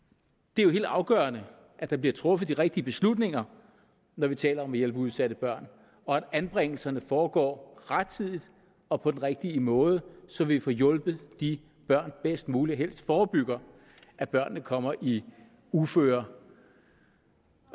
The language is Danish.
det er jo helt afgørende at der bliver truffet de rigtige beslutninger når vi taler om at hjælpe udsatte børn og at anbringelserne foregår rettidigt og på den rigtige måde så vi får hjulpet de børn bedst muligt og helst forebygger at børnene kommer i uføre